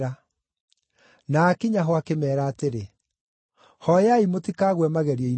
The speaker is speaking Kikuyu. Na aakinya ho akĩmeera atĩrĩ, “Hooyai mũtikagwe magerio-inĩ.”